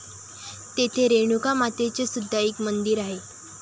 तेथे रेणुका मातेचे सुद्धा एक मंदिर आहे.